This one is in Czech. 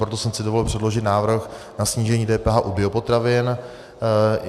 Proto jsem si dovolil předložit návrh na snížení DPH u biopotravin.